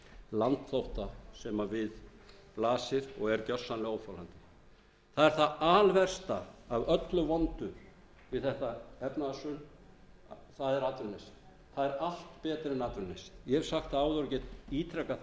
landflótta sem við blasir og er gersamlega óþolandi það er það alversta af öllu vondu við þetta efnahagshrun það er atvinnuleysið það er allt betra en atvinnuleysið ég hef sagt það áður og get ítrekað það